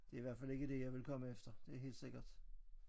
Det i hvert fald ikke det jeg ville komme efter det er helt sikkert